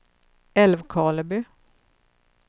Älvkarleby